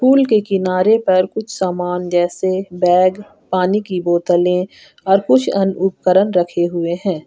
Pool के किनारे पर कुछ सामान जैसे बैग पानी की बोतले और कुछ अन्य उपकरण रखे हुए हैं।